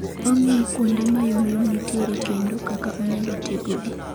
Ong'iyo kuonde mayomyom nitiere kendo kaka onyalo tego gi